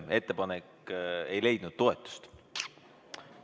Ettepanek ei leidnud toetust.